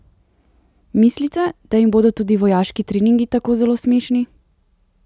Mislite, da jim bodo tudi vojaški treningi tako zelo smešni?